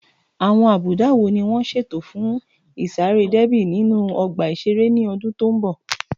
Àwọn àbùdá wo ni wọ́n ṣètò fún ìsáré déébì nínú ọgbà ìṣeré ní ọdún tó ń bọ̀?